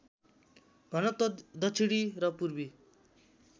घनत्व दक्षिणी र पूर्वी